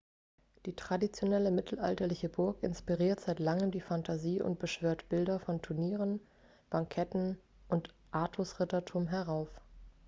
die traditionelle mittelalterliche burg inspiriert seit langem die fantasie und beschwört bilder von turnieren banketten und artus-rittertum herauf